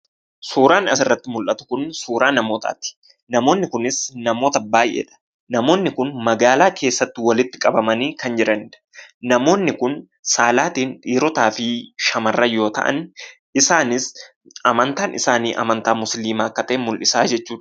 Suuraan asirratti mul'atu kun suuraa namootaati. Namoonni kunis namoota baay'eedha. Namoonni kun magaalaa keessatti waliti qabamanii kan jiranidha. Namoonni kun saalaatiin dhiirotaa fi shamarran yoo ta'an isaanis amantaan isaanii amantaa musliimaa akka ta'e mul'isaa jechuudha.